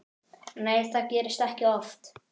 Nei það gerist ekki oft.